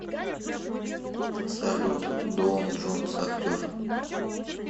салют доун джонс актер